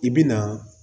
I bi na